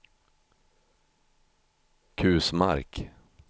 Kusmark